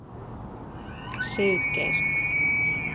Siggeir